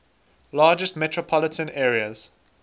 largest metropolitan areas